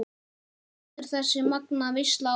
Heldur þessi magnaða veisla áfram?